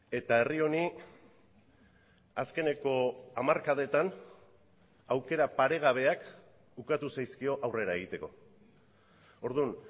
eta herri honi azkeneko hamarkadetan aukera paregabeak ukatu zaizkio aurrera egiteko orduan